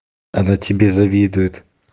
она тебе завидует